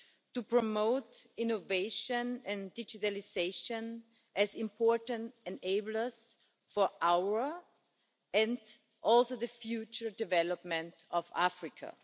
to promote innovation and digitalisation as important enablers for our development and also for the future development of Africa.